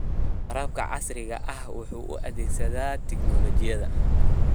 Waraabka casriga ahi waxa uu adeegsadaa tignoolajiyada.